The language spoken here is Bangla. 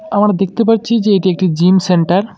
আমার দেখতে পারছি যে এটি একটি জিম সেন্টার ।।